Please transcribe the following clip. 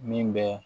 Min bɛ